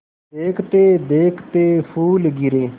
देखते देखते फूल गिरे